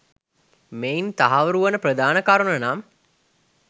මෙයින් තහවුරු වන ප්‍රධාන කරුණ නම්